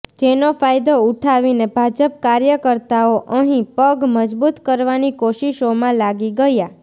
જેનો ફાયદો ઉઠાવીને ભાજપ કાર્યકર્તાઓ અહીં પગ મજબૂત કરવાની કોશિશોમાં લાગી ગયા